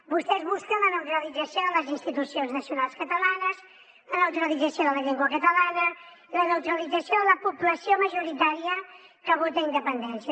vostès busquen la neutralització de les institucions nacionals catalanes la neutralització de la llengua catalana i la neutralització de la població majoritària que vota independència